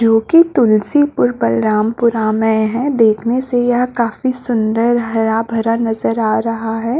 जो की तुलसीपुर बलरामपुर हावय ये ह देखने से यह काफी सूंदर हरा भरा नजर आ रहा है।